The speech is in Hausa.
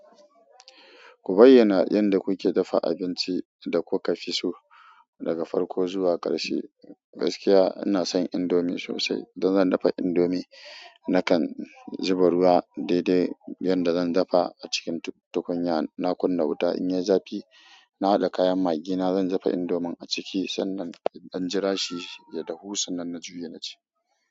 Ku bayyana yanda kuke dafa abinci da kuka fiso, daga farko zuwa ƙarshe. Gaskiya inason indomie sosai. Idan zan dafa indomie, nakan zuba ruwa daidai yanda zan dafa acikin tukunya. Na kunna wuta, in yai zafi nahaɗa kayan magina. Zan dafa indomin aciki sannan in ɗan jirashi ya dahu. Sannan na juye, naci.